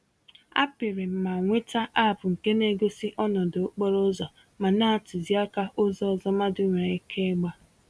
A pịrịm ma nweta App nke na-egosi ọnọdụ okporo ụzọ ma na-atụzi àkà ụzọ ọzọ mmadụ nwèrè ike ịgba.